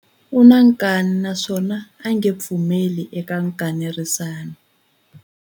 U na nkani naswona a nge pfumeli eka nkanerisano.